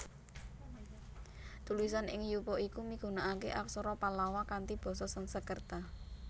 Tulisan ing yupa iku migunakaké Aksara Pallawa kanthi basa Sansekerta